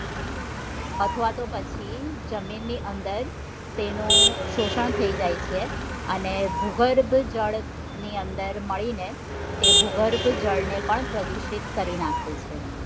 અથવા તો પછી જમીન ની અંદર તેનું શોષણ થઇ જાય છે અને ભૂગર્ભ જળ ની અંદર મળી ને તે ભૂગર્ભ જળ ને પણ પ્રદુષિત કરી નાખે છે